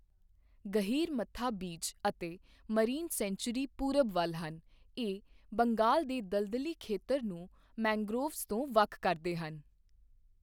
Gahirmatha beach ਅਤੇ marine sanctuary ਪੂਰਬ ਵੱਲ ਹਨ, ਇਹ ਬੰਗਾਲ ਦੇ ਦਲਦਲੀ ਖੇਤਰ ਨੂੰ ਮੈਂਗ੍ਰੋਵਜ਼ ਤੋਂ ਵੱਖ ਕਰਦੇ ਹਨ।